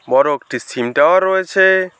বড় একটি sim tower রয়েছে।